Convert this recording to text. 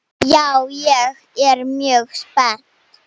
Já, ég er mjög spennt.